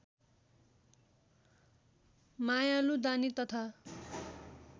मायालु दानी तथा